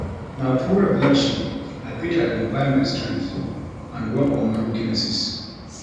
Na through reflection I fit identify my strengths and work on my weaknesses.